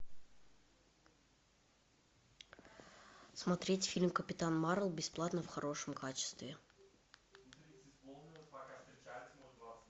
смотреть фильм капитан марвел бесплатно в хорошем качестве